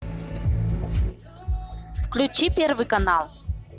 включи первый канал